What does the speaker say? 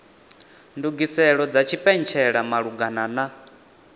ndugiselo dza tshipentshela malugana na